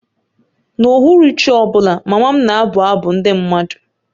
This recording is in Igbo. N'uhuruchi ọ bụla, mama m na-abụ abụ ndị mmadụ